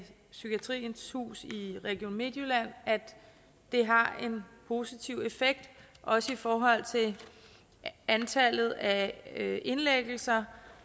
psykiatriens hus i region midtjylland at det har en positiv effekt også i forhold til antallet af indlæggelser